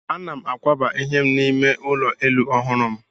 Ana m akwaba ihe m n'ime ụlọ elu ọhụrụ m.